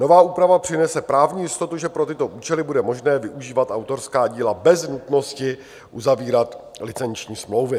Nová úprava přinese právní jistotu, že pro tyto účely bude možné využívat autorská díla bez nutnosti uzavírat licenční smlouvy.